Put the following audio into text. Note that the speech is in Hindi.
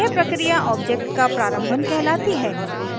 यह प्रक्रिया ऑब्जेक्ट का प्रारंभन कहलाती है